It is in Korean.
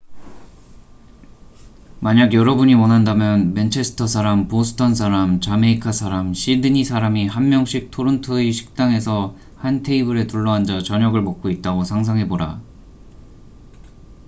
만약 여러분이 원한다면 맨체스터 사람 보스턴 사람 자메이카 사람 시드니 사람이 한 명씩 토론토의 식당에서 한 테이블에 둘러앉아 저녁을 먹고 있다고 상상해 보라